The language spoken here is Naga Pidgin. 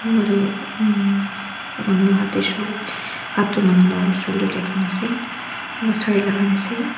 kunba toh manu la hat tae shol hat tu manu la sholder tae rakhina ase kunba sare lakai na ase.